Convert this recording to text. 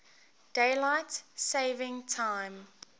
daylight saving time